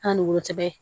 An ni wolo cɔb